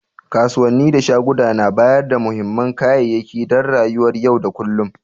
Kasuwanni da shaguna na bayarda muhimman kayayyaki dan rayuwar yau da kullum.